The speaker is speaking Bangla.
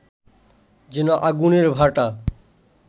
যেন আগুনের ভাঁটা